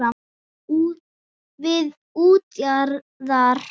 Við útjaðar